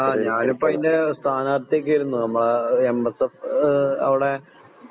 ആഹ് ഞാനിപ്പോതിൻറെ സ്ഥാനാർത്ഥിയൊക്കെയായിരുന്നു ഉം അവിടേ